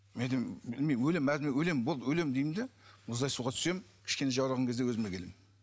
мен айтам өлемін өлемін болды өлемін деймін де мұздай суға түсемін кішкене жаураған кезде өзіме келемін